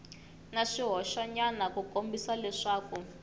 na swihoxonyana ku kombisa leswaku